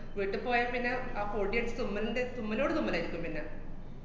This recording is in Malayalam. വീട്ടിപ്പോയാപ്പിന്നെ ആ പൊടിയൊ~ തുമ്മലിന്‍റെ തുമ്മലോട് തുമ്മലായിരിക്കും പിന്ന.